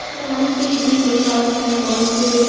এখানে অনেক ধরনের বই পাওয়া যায় গল্পের।